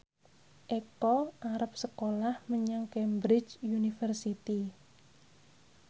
Eko arep sekolah menyang Cambridge University